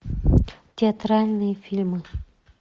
театральные фильмы